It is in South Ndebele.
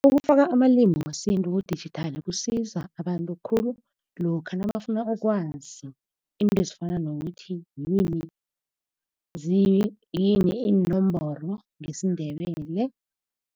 Ukufaka amalimi wesintu kudijithali kusiza abantu khulu lokha nabafuna ukwazi izinto ezifana nokuthi yini iinomboro ngesiNdebele.